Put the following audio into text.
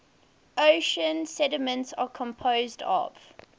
ocean sediments are composed of